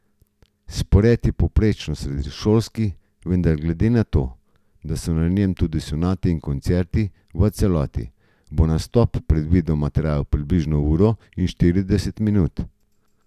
Spored je povprečno srednješolski, vendar glede na to, da so na njem tudi sonate in koncerti v celoti, bo nastop predvidoma trajal približno uro in štirideset minut.